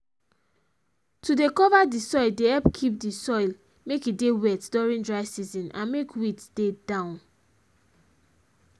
to dey cover the soil dey help keep the soil make e dey wet during dry season and make weeds dey down